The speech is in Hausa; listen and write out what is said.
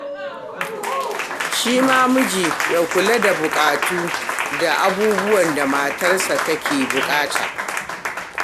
Shi ma miji ya kula da buƙatu da abubuwan da matarsa take buƙata.